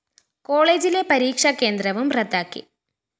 കോളേജിലെ പരീക്ഷ കേന്ദ്രവും റദ്ദാക്കി